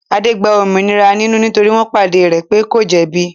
Adé gba òmìnira nínú nítorí wọ́n padà ri pé kò jẹ̀bi.